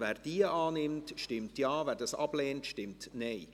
Wer diese annimmt, stimmt Ja, wer sie ablehnt, stimmt Nein.